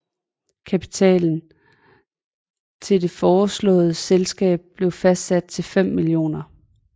Kapitalen til det foreslåede selskab blev fastsat til 5 mio